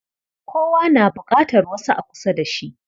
Kowa na buƙatar wasu a kusa da shi.